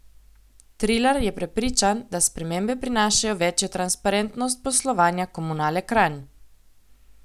Trilar je prepričan, da spremembe prinašajo večjo transparentnost poslovanja Komunale Kranj.